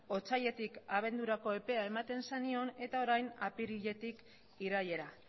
otsailetik abendurako epea ematen zenion eta orain apiriletik irailera